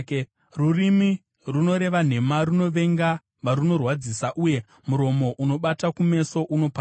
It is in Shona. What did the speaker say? Rurimi runoreva nhema runovenga varunorwadzisa, uye muromo unobata kumeso unoparadza.